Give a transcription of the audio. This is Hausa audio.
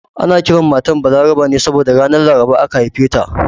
Ana kiran matar Balaraba ne saboda ranar Laraba aka haife ta